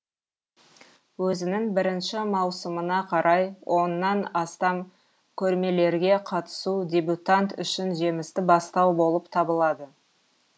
өзінің бірінші маусымына қарай оннан астам көрмелерге қатысу дебютант үшін жемісті бастау болып табылады